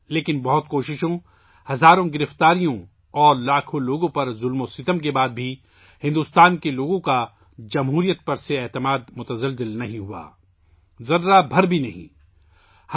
لیکن بہت سی کوششوں، ہزاروں گرفتاریوں اور لاکھوں لوگوں پر مظالم کے بعد بھی ہندوستانی عوام کا جمہوریت پر اعتماد متزلزل نہیں ہوا، بالکل نہیں ہوا